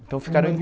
Então ficaram